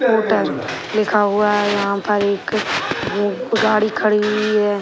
Scooter लिखा हुआ है यहाँ पर एक गाड़ी खड़ी हुई है।